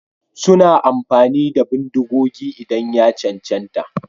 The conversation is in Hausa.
Suna amfani da bindigogi idan ya cancanta.